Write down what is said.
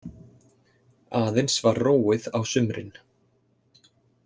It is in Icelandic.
Aðeins var róið á sumrin.